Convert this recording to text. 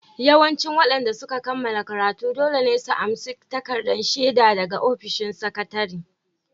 Yawancin waɗanda suka kammala karatun dole ne su amsa takardar shaidar su daga ofishin sakatare